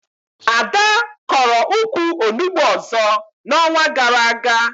Ada kọrọ ukwu Onugbu ọzọ na onwa gara aga